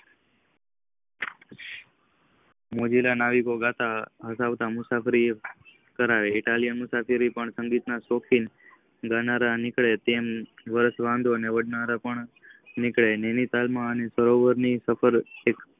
મોજીલો મુસાફરી કરતા ખાલી મુસાફરી સંગીત ના શૉખીક ગાનાર નીકળે છે. તો વર્ષ વાંધો આંઉં વાતનાર પણ નીકળે નૈનિતાલ માં સરોવર ની સફળ